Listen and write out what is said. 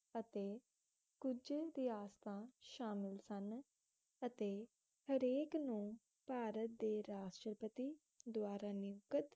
ਅਤੇ ਕੁਜ ਰਿਆਸਤਾਂ ਸ਼ਾਮਿਲ ਸਨ ਅਤੇ ਹਰੇਕ ਨੂੰ ਭਾਰਤ ਦੇ ਰਾਸ਼ਟਰਪਤੀ ਦਵਾਰਾ ਨਿਯੁਕਤ